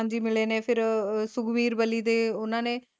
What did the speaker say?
ਜੀ ਮਿਲੇ ਨੇ ਫਿਰ ਸੁਗਰੀਵ ਬਲੀ ਤੇ ਉਹਨਾਂ ਨੇ